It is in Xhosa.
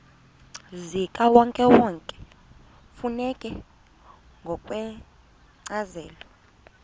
zikawonkewonke kufuneka ngokwencazelo